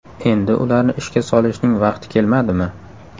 Endi ularni ishga solishning vaqti kelmadimi?